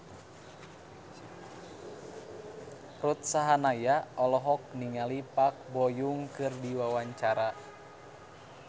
Ruth Sahanaya olohok ningali Park Bo Yung keur diwawancara